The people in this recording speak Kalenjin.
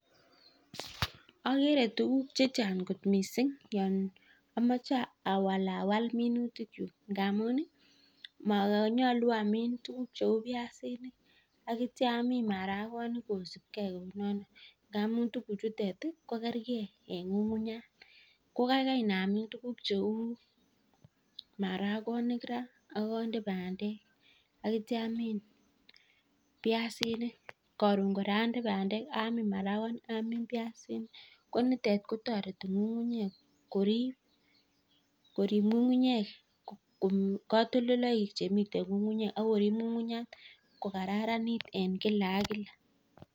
Ogere tuguk che chang kot mising yon omoche awalawal minutikyuk ngamun monyolu amin tuguk cheu biasinik ak kityo amin marakonik kosib ge kounoto ngamun tuguchutet ko kerege en ng'ung'unyat ko kaigai inamin tuugk cheu marakonik ra ak onde bandek. Ak kityo amin biasinik koton kora onde bandek, amin marakonik, amin biasinik, ko nitet kotoreti ng'ung'nyek korib ng'ung'nyek kotoltoloik chemiten ng'ung'unyek ak korib ng'ung'unyat ko kararanit en kil ak kila.